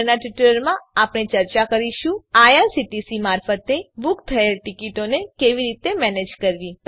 આગળનાં ટ્યુટોરીયલમાં આપણે ચર્ચા કરીશું આઇઆરસીટીસી મારફતે બૂક થયેલી ટીકીટોની કેવી રીતે મેનેજ કરવી